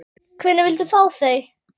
Hvenær viltu fá þau?